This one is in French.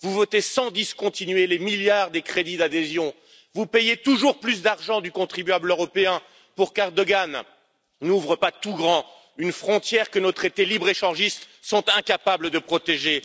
Vous votez sans discontinuer les milliards des crédits d'adhésion, vous payez toujours plus d'argent du contribuable européen pour que M. Erdogan n'ouvre pas tout grand une frontière que nos traités libre échangistes sont incapables de protéger.